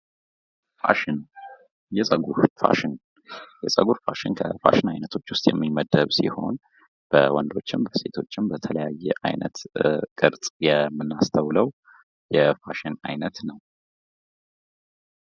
ፋሽን የፀጉር ፋሽን የፀጉር ፋሽን ከፋሽን አይነቶች የሚመደብ ሲሆን በወንዶችን በሴቶችን በተለያየ የአይነት ቅርጽ የምናስተውለው የፋሽን ዓይነት ነው።